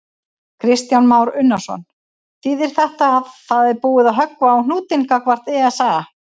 Kristján Már Unnarsson: Þýðir þetta að það er búið að höggva á hnútinn gagnvart ESA?